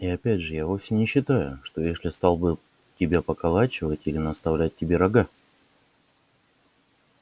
и опять же я вовсе не считаю что эшли стал бы тебя поколачивать или наставлять тебе рога